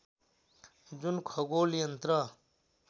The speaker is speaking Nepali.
जुन खगोल यन्त्र